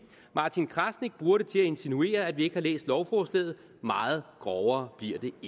martin krasnik bruger det til at insinuere at vi ikke har læst lovforslaget meget grovere